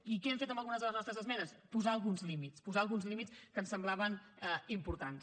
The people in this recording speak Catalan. i què hem fet amb algunes de les nostres esmenes posar alguns límits posar alguns límits que ens semblaven importants